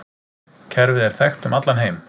Kerfið er þekkt um allan heim.